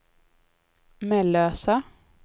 Mellösa